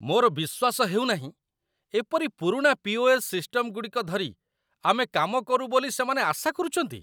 ମୋର ବିଶ୍ୱାସ ହେଉ ନାହିଁ, ଏପରି ପୁରୁଣା ପି.ଓ.ଏସ୍. ସିଷ୍ଟମଗୁଡ଼ିକ ଧରି ଆମେ କାମ କରୁ ବୋଲି ସେମାନେ ଆଶା କରୁଛନ୍ତି।